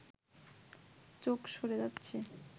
চোখ সরে যাচ্ছে